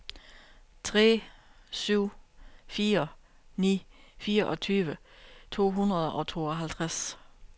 tre syv fire ni fireogtyve to hundrede og tooghalvtreds